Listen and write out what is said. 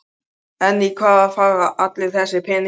En í hvað fara allir þessir peningar?